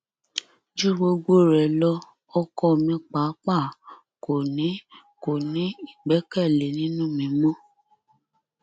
ju gbogbo rẹ lọ ọkọ mi pàápàá kò ní kò ní ìgbẹkẹlé nínú mi mọ